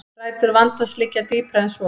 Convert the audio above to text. Rætur vandans liggja dýpra en svo